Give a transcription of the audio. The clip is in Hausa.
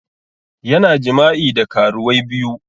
Yana jima'i da karuwai biyu